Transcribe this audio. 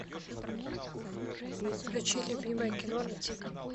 включи любимое кино на тиви